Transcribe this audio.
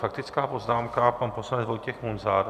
Faktická poznámka pan poslanec Vojtěch Munzar.